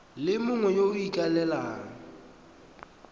le mongwe yo o ikaelelang